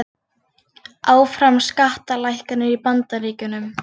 Áfram skattalækkanir í Bandaríkjunum